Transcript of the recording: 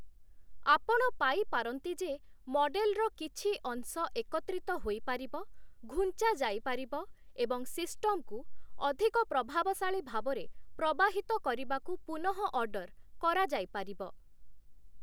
ଆପଣ ପାଇପାରନ୍ତି ଯେ, ମଡେଲର କିଛି ଅଂଶ ଏକତ୍ରିତ ହୋଇପାରିବ, ଘୁଞ୍ଚାଯାଇପାରିବ, ଏବଂ ସିଷ୍ଟମକୁ ଅଧିକ ପ୍ରଭାବଶାଳୀ ଭାବରେ ପ୍ରବାହିତ କରିବାକୁ ପୁନଃଅର୍ଡ଼ର କରାଯାଇପାରିବ ।